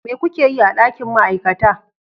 Me kuke yi a dakin ma'aikata?